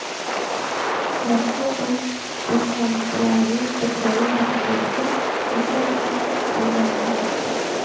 Rossiya o‘z desantchilarining Ukraina hududiga tasodifan tushib qolganini aytdi.